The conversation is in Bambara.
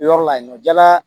Yɔrɔ la yen nɔ jala